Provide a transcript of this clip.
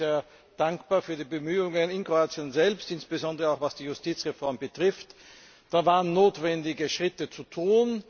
Ich bin sehr dankbar für die Bemühungen in Kroatien selbst, insbesondere was die Justizreform betrifft. Da waren notwendige Schritte zu tun.